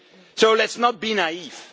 future. So let us not